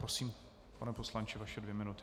Prosím, pane poslanče, vaše dvě minuty.